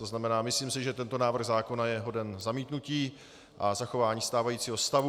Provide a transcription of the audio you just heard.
To znamená, myslím si, že tento návrh zákona je hoden zamítnutí a zachování stávajícího stavu.